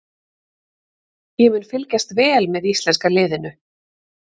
Ég mun fylgjast vel með íslenska liðinu.